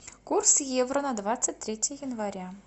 курс евро на двадцать третье января